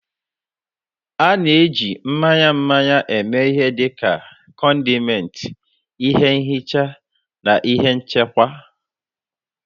A na-eji mmanya mmanya eme ihe dị ka condiment, ihe nhicha na ihe nchekwa.